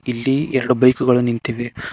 ಇಲ್ಲಿ ಎರಡು ಬೈಕ್ ಗಳು ನಿಂತಿವೆ.